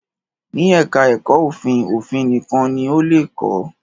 Ní Ẹ̀ká ẹ̀kọ́ òfin, òfin nìkan ni o lè kọ̀